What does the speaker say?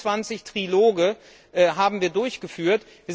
26 Triloge haben wir durchgeführt.